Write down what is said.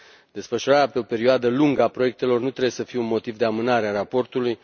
Desfășurarea pe o perioadă lungă a proiectelor nu trebuie să fie un motiv de amânare a raportului.